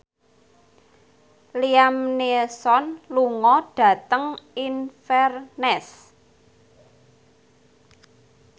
Liam Neeson lunga dhateng Inverness